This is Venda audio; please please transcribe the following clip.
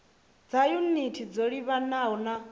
dza yunithi dzo livhanaho na